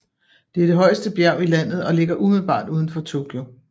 Det er det højeste bjerg i landet og ligger umiddelbart uden for Tokyo